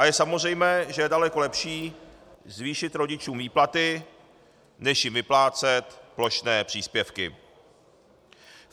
A je samozřejmé, že je daleko lepší zvýšit rodičům výplaty než jim vyplácet plošné příspěvky.